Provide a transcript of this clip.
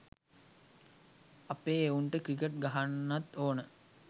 අපේ එවුන්ට ක්‍රිකට් ගහන්නත් ඕන